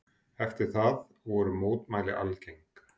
Eftir það voru mótmæli algeng.